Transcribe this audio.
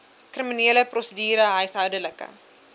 kriminele prosedure huishoudelike